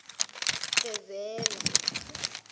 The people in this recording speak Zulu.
fezela